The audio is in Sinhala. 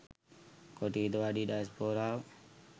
කොටි හිතවාදී ඩයස්‌පෝරාව